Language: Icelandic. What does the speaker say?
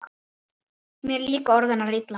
Mér líka orð hennar illa